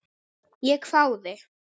Ég hváði.